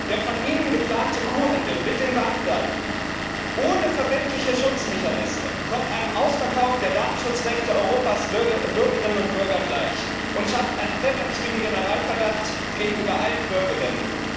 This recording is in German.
Der von Ihnen geplante Kuhhandel mit den Bankdaten ohne verbindliche Schutzmechanismen kommt einem Ausverkauf der Datenschutzrechte der Bürgerinnen und Bürger Europas gleich und schafft einen präventiven Generalverdacht gegenüber allen BürgerInnen.